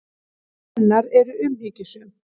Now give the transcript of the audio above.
Atlot hennar eru umhyggjusöm.